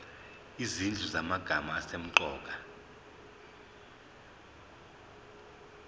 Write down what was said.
izinhlu zamagama asemqoka